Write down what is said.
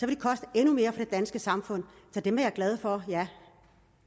det koste endnu mere for det danske samfund så dem er jeg glad for ja